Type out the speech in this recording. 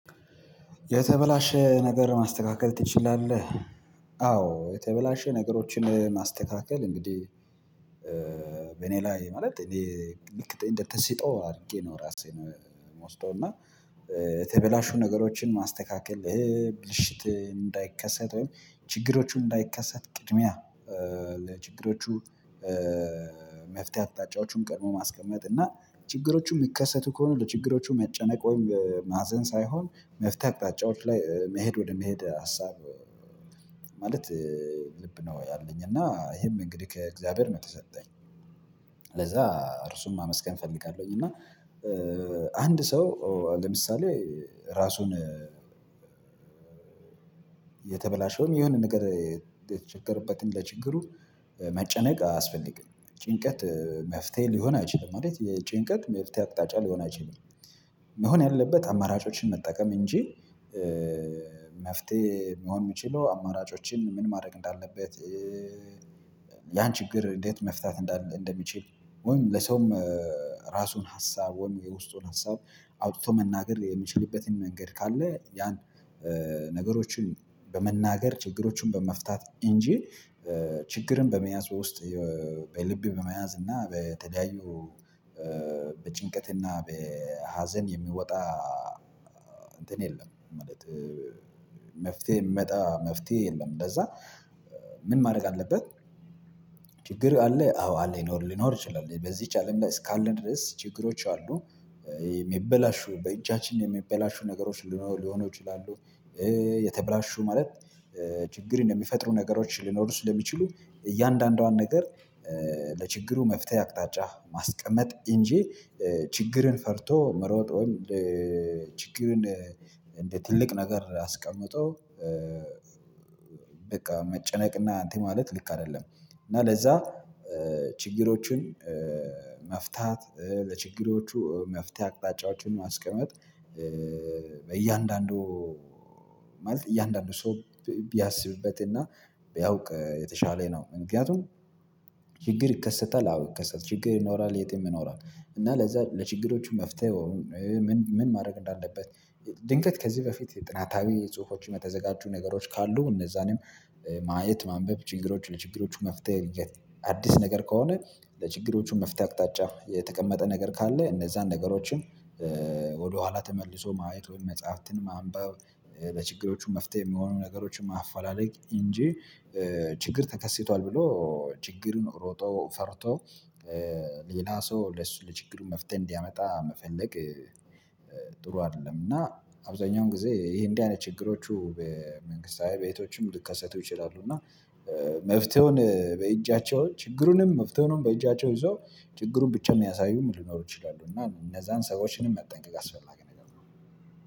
የተበላሸ ነገር ማስተካከል ትችላለህ? አዎ የተበላሸ ነገሮችን ማስተካከል እንግዲህ በእኔ ላይ ማለት እኔ ልክ እንደተስጦ አድርጌ ነው። ራሴን የምወስደው እና የተበላሹ ነገሮችን ማስተካከል ብልሽት እንዳይከሰት ወይም ችግሮቹን እንዳይከሰት ቅድሚያ ለችግሮቹ መፍትሄ አቅጣጫዎቹን ቀድሞ ማስቀመጥ እና ችግሮቹ የሚከሰቱ ከሆነ ለችግሮቹ መጨነቅ ወይም ማዘን ሳይሆን መፍታት አቅጣጫዎች ላይ መሄድ ወደ መሄድ ሀሳብ ማለት ልብ ነው ያለኝ እና ይሄም እንግዲህ ከእግዚአብሔር ነው የተሰጠኝ። ስለዛ እርሱን ማመስገን እፈልጋለሁኝ። እና አንድ ሰው ለምሳሌ እራሱን የተበላሸውም የሆነ ነገር የተቸገርበትን ለችግሩ መጨነቅ አያስፈልግም ጭንቀት መፍትሄ ሊሆን አይችልም ማለት የጭንቀት መፍትሄ አቅጣጫ ሊሆን አይችልም። መሆን ያለበት አማራጮችን መጠቀም እንጂ መፍትሄ መሆን የምችለው አማራጮችን ምን ማድረግ እንዳለበት? ያን ችግር እንዴት መፍታት እንደሚችል? ወይም ለሰውም ራሱን ሀሳብ ወይም የውስጡን ሀሳብ አውጥቶ መናገር የምችልበትን ነገር ካለ ያን ነገሮችን በመናገር ችግሮቹን በመፍታት እንጂ ችግርን በመያዝ ውስጥ በልብ በመያዝ እና በተለያዩ በጭንቀትና በሀዘን የሚወጣ እንትን የለም። ማለት መፍትህሄ የምመጣ መፍትሄ የለም። ለዛ ምን ማድረግ አለበት? ችግር አለ አዎ አለ ይኖር ሊኖር ይችላል በዚህ አለም ላይ እስካለን ድረስ ችግሮች አሉ። የሚበላሹ በእጃችን የሚበላሹ ነገሮች ሊኖሩ ሊሆኑ ይችላሉ። የተብላሹ ማለት ችግርን የሚፈጥሩ ነገሮች ሊኖሩ ስለሚችሉ እያንዳንዷን ነገር ለችግሩ መፍትሄ አቅጣጫ ማስቀመጥ እንጂ ችግርን ፈርቶ መሮጥ ወይም ችግርን እንደ ትልቅ ነገር አስቀምጦ በቃ መጨነቅና እንትን ማለት ልክ አይደለም። እና ለዛ ችግሮችን መፍታት ለችግሮቹ መፍትህሄ አቅጣጫዎችን ማስቀመጥ። በእያንዳንዱ ማለት እያንዳንዱ ሰው ቢያስብበትና ቢያውቅ የተሻለ ነው። ምክንያቱም ችግር ይከሰታል አዎ ይከሰታል ችግር ይኖራል የትም ይኖራል። እና ለዛ ለችግሮቹ መፍትሄ ምን ምን ማድረግ እንዳለበት? ድንገት ከዚህ በፊት ጥናታዊ ጽሁፎችም የተዘጋጁ ነገሮች ካሉ እነዛንም ማየት ማንበብ ችግሮች ለችግሮች መፍትሄ አዲስ ነገር ከሆነ ለችግሮቹ መፍትሄ አቅጣጫ የተቀመጠ ነገር ካለ እነዛን ነገሮችን። ተመልሶ ማየቱን መጽሐፍትን ማንበብ ለችግሮቹ መፍትሄ የሚሆኑ ነገሮችን ማፋላለግ እንጂ ችግር ተከስቷል ብሎ ችግሩን ሮጦ ፈርቶ ሌላ ሰው ለሱ ለችግሩ መፍትህሄ እንዲያመጣ መፈለግ ጥሩ አይደለም። እና አብዛኛውን ጊዜ ይሄ እንዲህ አይነት ችግሮቹ በመንግስታዊ ቤቶችም ልከሰቱ ይችላሉ። እና መፍትሄውን በእጃቸው ችግሩንም መፍትህወንም በእጃቸው ይዞ ችግሩን ብቻ የሚያሳዩም ሊኖሩ ይችላሉ። እና እነዛን ሰዎችንም መጠንቀቅ አስፈላጊ ነገር ነው።